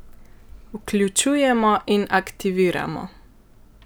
Vključujemo in aktiviramo!